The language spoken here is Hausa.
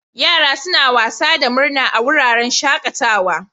Yara suna wasa da murna a wuraren shakatawa.